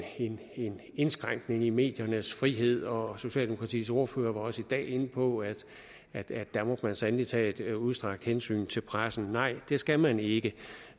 indskrænkning i mediernes frihed og socialdemokratiets ordfører var også i dag inde på at at der må man sandelig tage et udstrakt hensyn til pressen nej det skal man ikke